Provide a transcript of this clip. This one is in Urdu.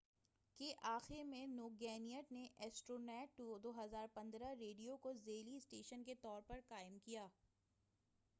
2015کے آخر میں ٹوگینیٹ نے ایسٹرونیٹ ریڈیو کو ذیلی اسٹیشن کے طور پر قائم کیا